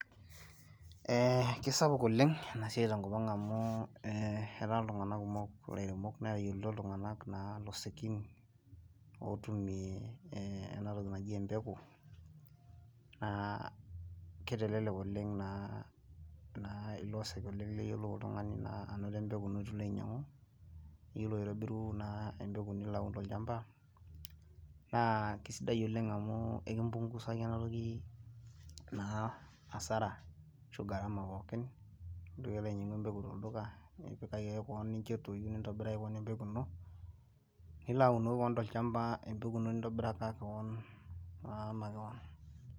Kisapuk oleng' ena siai tenkop amu etaa tunganak kumok ilairemok netayiolito iltung'anak ilosekin otumie ena toki naji empeku naa kitelelek oleng' naa ilosek oleng' niyiolou oltungani naa anoto empeku ino piilo ainyangu niyiolou aitobiru naa empeku nilo ainyangu tolchamba naa kisidai oleng' amu ekimpungusaki ena toki naa Asaram ashu gharama. Nintoki alo ainyangu empeku tolduka, nipikaki ake kewan nincho etoyu nintobiraki kewon empeku ino nilo aunoki kewon tolchamba empeku ino nintobiraki taata kewon.